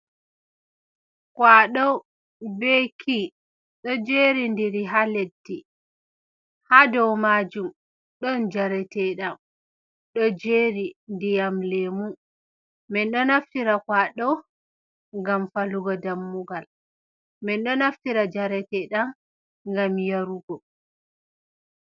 kwaɗo be kii ɗo jerindiri ha leddi, ha dow majum ɗon njareteɗam ɗo jeri ndiyam lemu. Min ɗo naftira kwaɗo ngam falugo dammugal. Min ɗo naftira njareteɗam ngam yarugo.